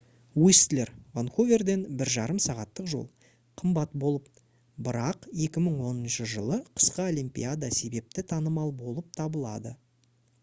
уистлер ванкуверден 1,5 сағаттық жол қымбат болып бірақ 2010 жылы қысқы олимпиада себепті танымал болып табылады